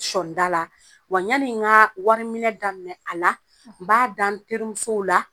Sɔɔnda la wa ɲani ŋaa wari minɛ daminɛ a la n b'a da n terimusow la